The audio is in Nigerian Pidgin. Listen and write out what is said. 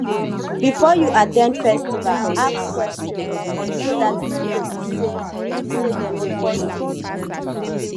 before you at ten d festival ask questions so dat e no go be sey be sey dem dey force things on you